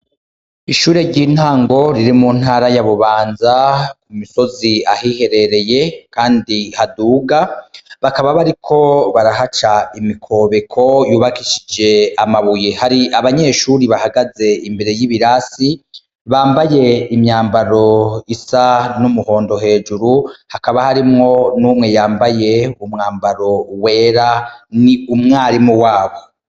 Ishure ry'intango riri mu ntara yabubanza ku misozi ahiherereye, kandi haduga bakaba bari ko barahaca imikobeko yubakishije amabuye hari abanyeshuri bahagaze imbere y'ibirasi bambaye imyambaro isa n'umuhondo hejuru hakaba harimwo n'umwe yambaye umwambaro wera ni umwarimu wabo.